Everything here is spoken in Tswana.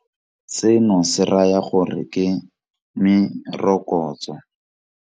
Seno se raya gore ke merokotso.